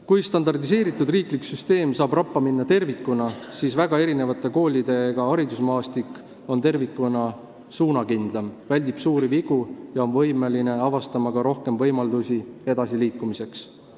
Kui standardiseeritud riiklik süsteem saab tervikuna rappa minna, siis väga erinevate koolidega haridusmaastik on tervikuna suunakindlam, väldib suuri vigu ja on võimeline avastama ka rohkem võimalusi edasiliikumiseks.